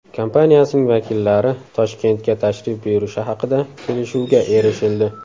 kompaniyasining vakillari Toshkentga tashrif buyurishi haqida kelishuvga erishildi.